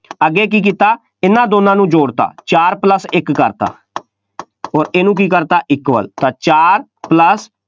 ਅੱਗੇ ਕੀ ਕੀਤਾ, ਇਹਨਾ ਦੋਨਾਂ ਨੂੰ ਜੋੜ ਦਿੱਤਾ, ਚਾਰ plus ਇੱਕ ਕਰਤਾ ਅੋਰ ਇਹਨੂੰ ਕੀ ਕਰਤਾ, equal ਤਾਂ ਚਾਰ plus